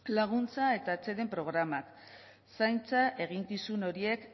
laguntza eta atseden programa zaintza eginkizun horiek